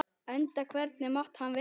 Enda hvernig mátti annað vera?